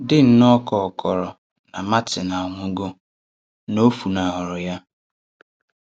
Dị nnọọ ka ọ kòrò na Màrtin à nwùgò, na ọ fùnàhụrụ ya.